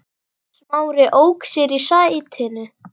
Smári ók sér í sætinu.